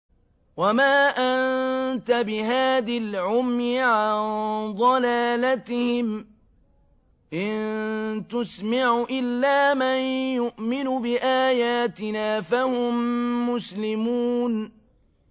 وَمَا أَنتَ بِهَادِ الْعُمْيِ عَن ضَلَالَتِهِمْ ۖ إِن تُسْمِعُ إِلَّا مَن يُؤْمِنُ بِآيَاتِنَا فَهُم مُّسْلِمُونَ